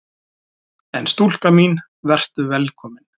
En stúlka mín: Vertu velkomin!